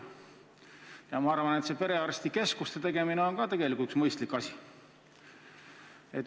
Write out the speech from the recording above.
Ja ma arvan, et ka perearstikeskuste tegemine on tegelikult üks mõistlik asi.